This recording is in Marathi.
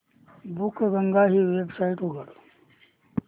बुकगंगा ही वेबसाइट उघड